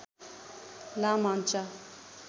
ला मान्चा